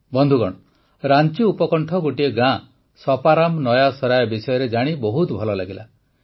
ବନ୍ଧୁଗଣ ରାଂଚି ଉପକଣ୍ଠ ଗୋଟିଏ ଗାଁ ସପାରାମ ନୟା ସରାୟ ବିଷୟରେ ଜାଣି ବହୁତ ଭଲ ଲାଗିଲା